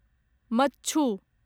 मच्छु